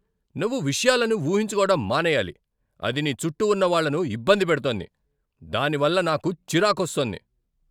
నువ్వు విషయాలను ఊహించుకోవడం మానేయాలి. అది నీ చుట్టూ ఉన్న వాళ్ళను ఇబ్బంది పెడుతోంది, దానివల్ల నాకు చిరాకొస్తోంది.